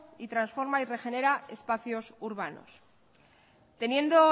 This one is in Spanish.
y transforma y regenera espacios urbanos teniendo